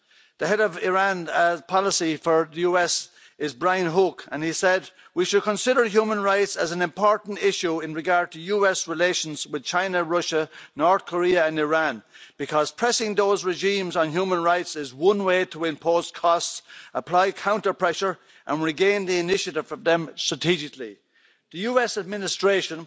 The head of Iran policy for the US is Brian Hook, and he said We should consider human rights as an important issue in regard to US relations with China, Russia, North Korea and Iran, because pressing those regimes on human rights is one way to impose costs, apply counter pressure, and regain the initiative from them strategically'. The US administration